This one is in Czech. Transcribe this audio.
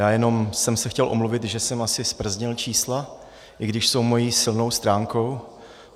Já jenom jsem se chtěl omluvit, že jsem asi zprznil čísla, i když jsou mou silnou stránkou.